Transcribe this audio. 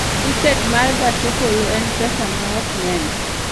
Tiket ma gach okoloen pesa maom ng�eny?